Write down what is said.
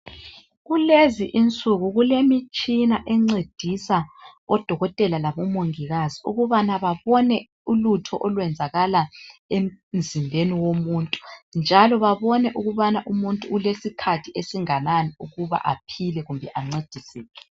Kulezi insuku kulemitshina encedisa odokotela labomongikazi ukubana babone ulutho olwenzakala emzimbeni womuntu. Njalo babone ukubana umuntu ulesikhathi esinganani ukuba aphile kumbe ancediseke.